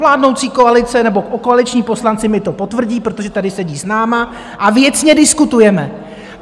Vládnoucí koalice nebo koaliční poslanci mi to potvrdí, protože tady sedí s námi, a věcně diskutujeme.